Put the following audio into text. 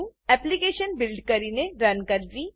application build કરીને run કરવી